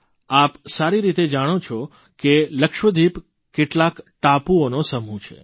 આપ સારી રીતે જાણો છો કે લક્ષદ્વીપ કેટલાક ટાપુઓનો સમૂહ છે